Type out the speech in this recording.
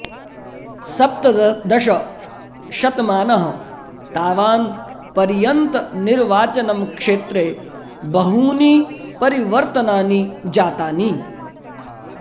सप्तदश शतमानः तावान् पर्यन्त निर्वाचनम् क्षॆत्रॆ बहूनी परिवर्तनानि जातानि